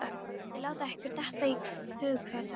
Getið þið látið ykkur detta í hug hver það er?